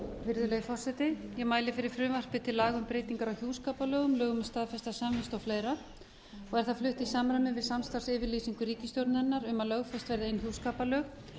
virðulegi forseti ég mæli fyrir frumvarpi til laga um breytingar á hjúskaparlögum lögum um staðfesta samvist og fleira og er það flutt í samræmi við samstarfsyfirlýsingu ríkisstjórnarinnar um að lögfest verði einhjúskaparlög og